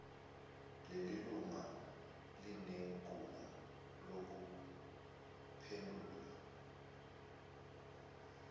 lelilunga linegunya lokuphendula